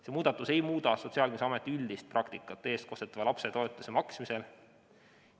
See muudatus ei muuda Sotsiaalkindlustusameti üldist praktikat eestkostetava lapse toetuse maksmisel.